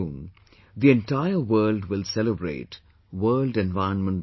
The Ministry of AYUSH has started its International Video Blog competition entitled 'My Life, My Yoga'